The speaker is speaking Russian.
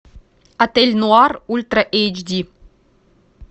отель нуар ультра эйч ди